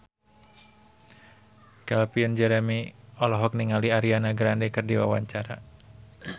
Calvin Jeremy olohok ningali Ariana Grande keur diwawancara